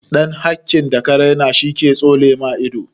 Ɗan hakkin da ka rena shi ke tsole ma ido